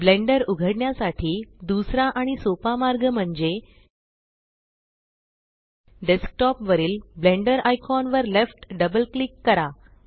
blender उघडण्यासाठी दुसरा आणि सोपा मार्ग म्हणजे डेस्कटॉप वरील ब्लेण्डर आयकॉन वर लेफ्ट डबल क्लिक करा